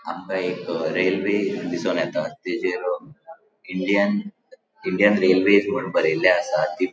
हांगा एक अ रेल्वे दिसोन येता तेजेर इंडियन इंडियन रेल्वे म्हणून बरेले आसा ती --